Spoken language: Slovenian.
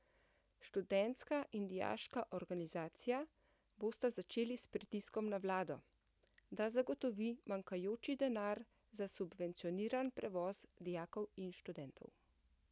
Študentska in dijaška organizacija bosta začeli s pritiskom na vlado, da zagotovi manjkajoči denar za subvencioniran prevoz dijakov in študentov.